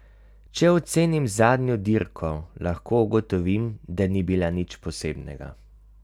Če ocenim zadnjo dirko, lahko ugotovim, da ni bila nič posebnega.